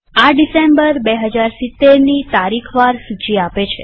આ ડિસેમ્બર ૨૦૭૦ની તારીખ વાર સૂચી આપે છે